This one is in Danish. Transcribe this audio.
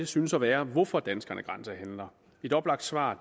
synes at være hvorfor danskerne grænsehandler et oplagt svar